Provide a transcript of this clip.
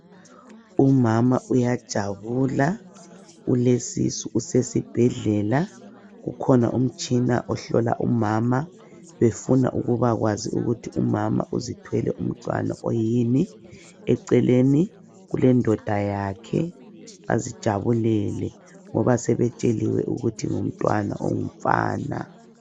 Umama uyajabula ,ulesisu esibhedlela, kukhona umtshina ohlola umama efuna ukuba kwazi ukuthi umama uzithwele umntwana oyini , eceleni kulendoda yakhe bazijabuoele ngoba sebetsheliwe ukuthi umntwana ngongumfana.